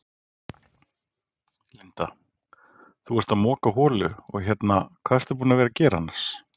Linda: Þú ert að moka holu og hérna, hvað ertu búin að vera gera annars?